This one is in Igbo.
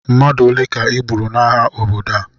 Mmadụ ole ka e gburu n'agha obodo a?